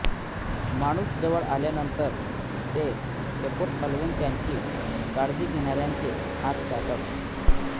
माणूस जवळ आल्यानंतर ते शेपूट हलवून त्यांची काळजी घेणार्याचे हात चाटत